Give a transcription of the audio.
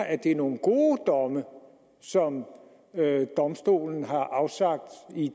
at det er nogle gode domme som domstolen har afsagt